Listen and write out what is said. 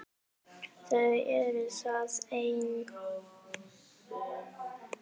Þau eru þar ein.